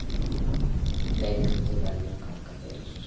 Leikritið verður að ganga fyrir.